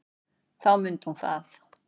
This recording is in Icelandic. Þá mundi hún það.